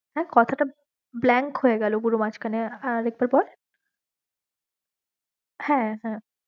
হ্যাঁ কথাটা blank হয়েগেলো পুরো মাজখানে, আর একবার বল হ্যাঁ হ্যাঁ